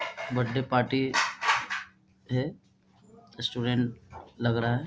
Birthday party है student लग रहा है।